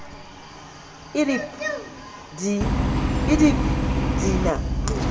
idp di idp di na